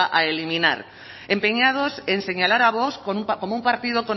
a eliminar empeñados en señalar a vox como un partido